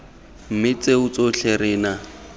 mme tseo tsotlhe re na